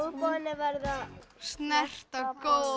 olnbogarnir verða að snerta